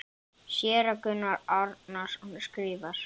Séra Gunnar Árnason skrifar